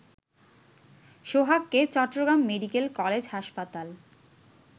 সোহাগকে Chattogram medical college হাসপাতাল